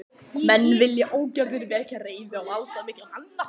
Menn vilja ógjarnan vekja reiði valdamikilla manna.